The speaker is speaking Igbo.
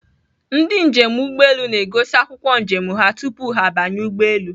Ndị njem ụgbọelu na-egosi akwụkwọ njem ha tupu ha banye ụgbọelu.